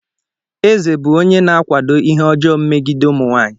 Eze bụ onye na-akwado ihe ọjọọ megide ụmụ nwaanyị.